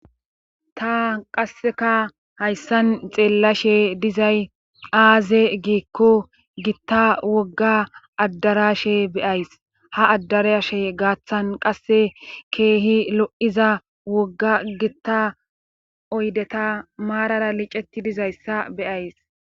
ta qasseka hayssan xeellashe dizay aaze giikko gitta wogga addarashe beyays ha addarashe gaaththan qasse keehi lo7iza wogga gitta oydeta maarara liceti dizayssa beyays